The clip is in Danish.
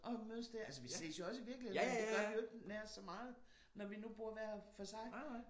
Og mødes der. Altså vi ses jo også i virkeligheden men det gør vi ikke nær så meget når vi nu bor hver for sig